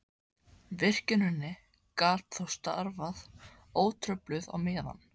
Virkjunin gat þá starfað ótrufluð á meðan.